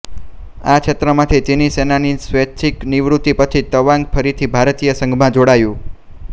આ ક્ષેત્રમાંથી ચીની સેનાની સ્વૈચ્છિક નિવૃત્તિ પછી તવાંગ ફરીથી ભારતીય સંઘમાં જોડાયું